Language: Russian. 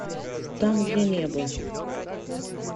там где небо